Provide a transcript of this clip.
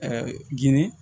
ginde